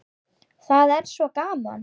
Það er svo gaman.